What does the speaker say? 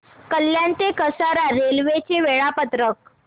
कल्याण ते कसारा रेल्वे चे वेळापत्रक